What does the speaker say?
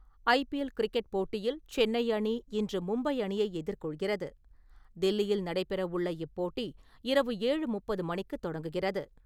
IPL cricket போட்டியில் சென்னை அணி இன்று மும்பை அணியை எதிர்கொள்கிறது. தில்லியில் நடைபெறவுள்ள இப்போட்டி இரவு ஏழு முப்பது மணிக்கு தொடங்குகிறது.